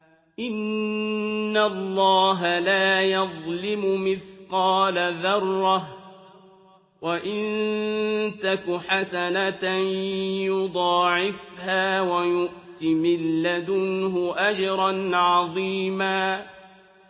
إِنَّ اللَّهَ لَا يَظْلِمُ مِثْقَالَ ذَرَّةٍ ۖ وَإِن تَكُ حَسَنَةً يُضَاعِفْهَا وَيُؤْتِ مِن لَّدُنْهُ أَجْرًا عَظِيمًا